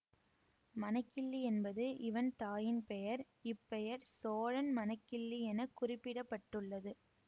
மணக்கிள்ளி என்பது இவன் தாயின் பெயர் இப் பெயர் சோழன் மணக்கிள்ளி என குறிப்பிட பட்டுள்ளது